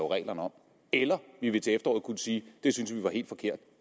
reglerne om eller vi vil til efteråret kunne sige at det synes vi er helt forkert